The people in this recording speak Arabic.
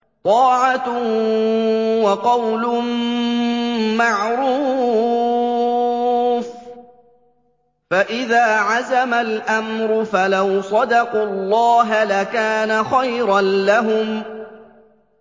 طَاعَةٌ وَقَوْلٌ مَّعْرُوفٌ ۚ فَإِذَا عَزَمَ الْأَمْرُ فَلَوْ صَدَقُوا اللَّهَ لَكَانَ خَيْرًا لَّهُمْ